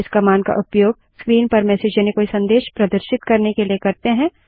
इस कमांड का उपयोग स्क्रीन पर मेसेज यानि कोई संदेश प्रदर्शित करने के लिए करते हैं